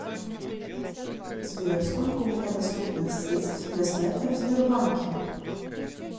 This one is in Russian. сбер сколько у меня доступных средств для снятия в сбербанке